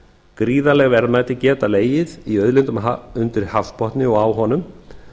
gríðarleg verðmæti geta legið í auðlindum undir hafsbotni og á honum